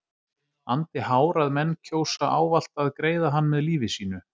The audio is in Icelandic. andi hár að menn kjósa ávallt að greiða hann með lífi sínu.